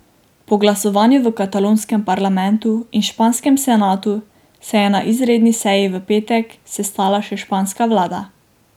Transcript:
Po glasovanju v katalonskem parlamentu in španskem senatu se je na izredni seji v petek sestala še španska vlada.